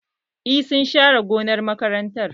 Eh, sun share gonar makarantar